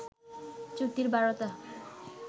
চ্যুতির বারতা